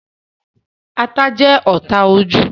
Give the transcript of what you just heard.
Ata jẹ́ ọ́ta ojú